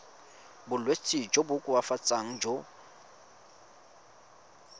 bolwetsi jo bo koafatsang jo